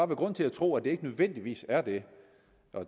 grund til at tro at det ikke nødvendigvis er det